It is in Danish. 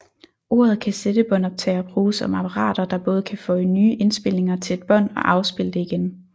Ordet kassettebåndoptager bruges om apparater der både kan føje nye indspilninger til et bånd og afspille det igen